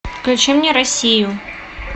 включи мне россию